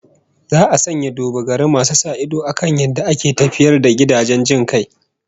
Za a sanya duba-gari masu sa ido akan yadda ake tafiyar da gidajen jin kai